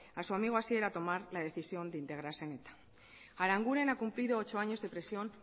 a su amigo asier a tomar la decisión de integrarse en eta aranguren ha cumplido ocho años de prisión